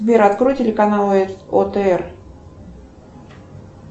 сбер открой телеканал отр